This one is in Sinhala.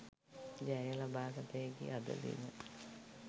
ජය ලබාගත හැකි අද දින